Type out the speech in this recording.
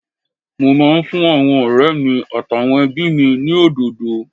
Mo máa ń fún àwọn ọ̀rẹ́ mi àtàwọn ẹbí mi ní òdòdó